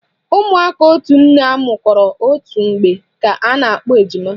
Ụmụaka otu nne amụkọrọ otu mgbe ka a na-akpọ ejima